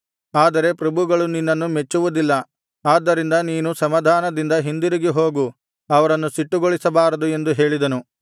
ಆದರೆ ಪ್ರಭುಗಳು ನಿನ್ನನ್ನು ಮೆಚ್ಚುವುದಿಲ್ಲ ಆದ್ದರಿಂದ ನೀನು ಸಮಾಧಾನದಿಂದ ಹಿಂದಿರುಗಿ ಹೋಗು ಅವರನ್ನು ಸಿಟ್ಟುಗೊಳಿಸಬಾರದು ಎಂದು ಹೇಳಿದನು